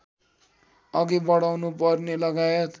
अघि बढाउनुपर्ने लगायत